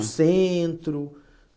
O centro.